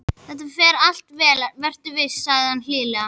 Þetta fer allt vel, vertu viss, segir hann hlýlega.